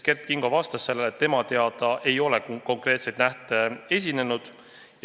Kert Kingo vastas, et tema teada ei ole selliseid konkreetseid olukordi esinenud.